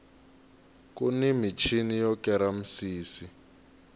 kuni michini yo kera misisi